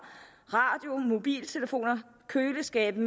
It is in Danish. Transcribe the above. radioer mobiltelefoner køleskabe